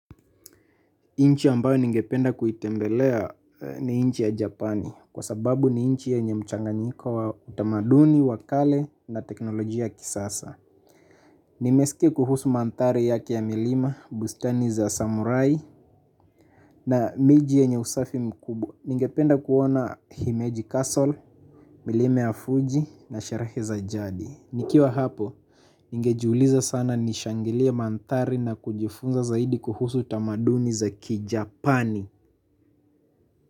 Nchi ambayo ningependa kuitembelea ni nchi ya Japani kwa sababu ni nchi yenye mchanganyiko wa utamaduni wa kale na teknolojia ya kisasa. Nimesikia kuhusu mandhari yake ya milima, bustani za samurai na miji yenye usafi mkubwa. Ningependa kuona Himeji Castle, milima ya Fuji na sherehe za jadi. Nikiwa hapo, ningejiuliza sana nishangilie mandhari na kujifunza zaidi kuhusu tamaduni za kijapani.